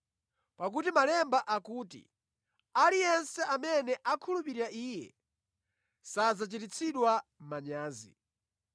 Pakuti Malemba akuti, “Aliyense amene akhulupirira Iye, sadzachititsidwa manyazi.”